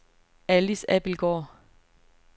Alice Abildgaard